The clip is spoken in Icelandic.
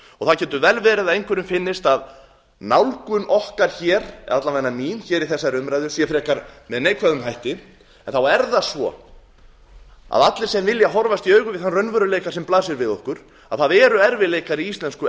það getur vel verið að einhverjum finnist að nálgun okkar eða alla vega mín í þessari umræðu sér frekar með neikvæðum hætti en þá er það svo að allir sem vilja horfast í augu við þann raunveruleika sem blasir við okkur það eru erfiðleikar í